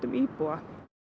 íbúa